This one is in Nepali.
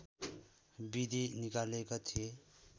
विधि निकालेका थिए